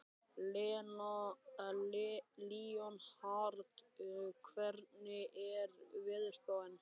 Leonhard, hvernig er veðurspáin?